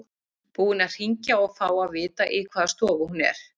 Búinn að hringja og fá að vita í hvaða stofu hún er.